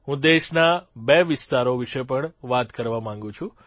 હું દેશના બે વિસ્તારો વિષે પણ વાત કરવા માંગું છું